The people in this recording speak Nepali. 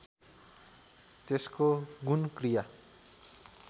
त्यसको गुण क्रिया